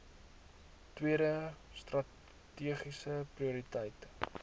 tweede strategiese prioriteit